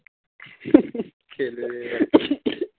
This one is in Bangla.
খেলবে এখন